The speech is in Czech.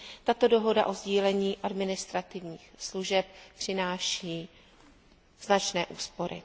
Tato dohoda o sdílení administrativních služeb přináší značné úspory.